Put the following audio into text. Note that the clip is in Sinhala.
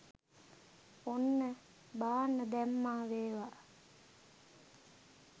ඔන්න බාන්න දැම්මා වේවා